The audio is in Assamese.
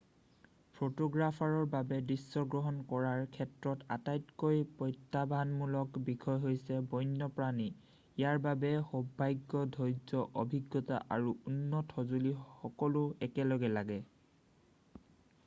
ফটোগ্ৰাফাৰৰ বাবে দৃশ্যগ্ৰহণ কৰাৰ ক্ষেত্ৰত আটাইতকৈ প্ৰত্যাহ্বানমূলক বিষয় হৈছে বন্যপ্ৰাণী ইয়াৰ বাবে সৌভাগ্য ধৈৰ্য্য অভিজ্ঞতা আৰু উন্নত সঁজুলি সকলো একেলগে লাগে